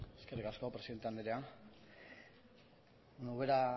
eskerrik asko presidente andrea ubera